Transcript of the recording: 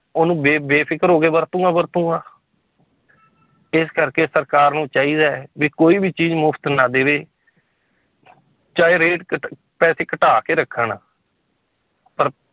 ਉਹਨੂੰ ਬੇ ਬੇਫ਼ਿਕਰ ਹੋ ਕੇ ਵਰਤੂੰਗਾ ਵਰਤੂੰਗਾ ਇਸ ਕਰਕੇ ਸਰਕਾਰ ਨੂੰ ਚਾਹੀਦਾ ਹੈ ਵੀ ਕੋਈ ਵੀ ਚੀਜ਼ ਮੁਫ਼ਤ ਨਾ ਦੇਵੇ ਚਾਹੇ rate ਘੱਟ ਪੈਸੇ ਘਟਾ ਕੇ ਰੱਖਣ ਪਰ